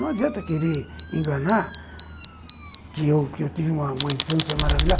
Não adianta querer enganar que eu que eu tive uma infância maravilhosa.